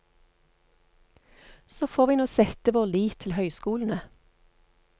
Så får vi nå sette vår lit til høyskolene.